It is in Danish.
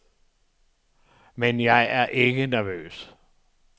Men jeg er ikke nervøs.